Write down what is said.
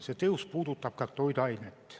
See tõus puudutab ka toiduaineid.